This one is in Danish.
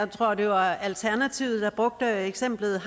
tror det var alternativet der brugte eksemplet